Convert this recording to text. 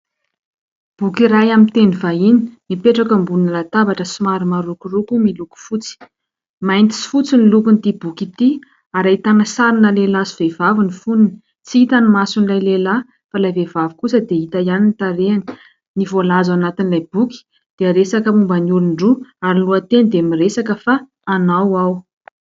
Boky iray amin'ny teny vahiny mipetraka ambony latabatra somary marokoroko miloko fotsy. Mainty sy fotsy ny lokon'ity boky ity ary ahitana sarina lehilahy sy vehivavy ny fonony. Tsy hita ny mason'ilay lehilahy, fa ilay vehivavy kosa dia hita ihany ny tarehiny. Ny voalaza ao anatin'ilay boky dia resaka momba ny olon-droa ary ny lohateny dia miresaka fa "anao aho".